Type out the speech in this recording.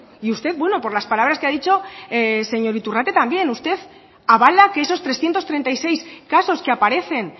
y usted bueno por las palabras que ha dicho señor iturrate también usted avala que esos trescientos treinta y seis casos que aparecen